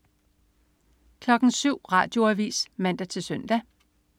07.00 Radioavis (man-søn)